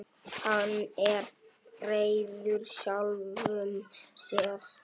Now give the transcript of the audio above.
Hann er reiður sjálfum sér.